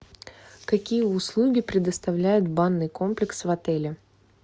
какие услуги предоставляет банный комплекс в отеле